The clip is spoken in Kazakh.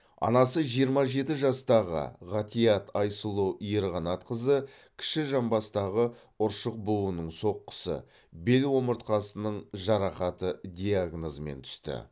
анасы жиырма жеті жастағы ғатиат айсұлу ерқанатқызы кіші жамбастағы ұршық буынының соққысы бел омыртқасының жарақаты диагнозымен түсті